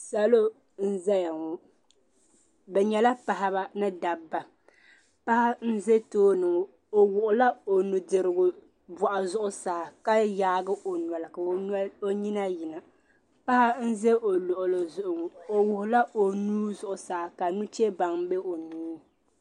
Salo nzɛya ŋɔ bɛ nyɛla Paɣba ni dabba paɣi zɛ tooni ŋɔ o wuɣila o nudirigu bɔɣu zuɣu saa ka yaagi o noli ka o nyina yina paɣa nza o luɣuli zugu o wuɣila o nuu zuɣusaa ka nuchɛbaŋa bɛ o nuuni.